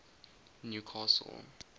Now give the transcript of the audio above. newcastle